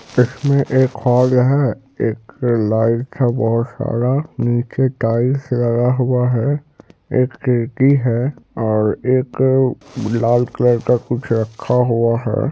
इसमें एक हॉल है एक लाइट है बहुत सारा नीचे टाइल्स लगा हुआ है एक सीढ़ी है और एक लाल कलर का कुछ रखा हुआ है।